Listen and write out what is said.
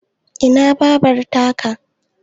Ina Babar ta ka?